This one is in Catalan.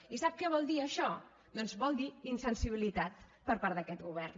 i sap què vol dir això doncs vol dir insensibilitat per part d’aquest govern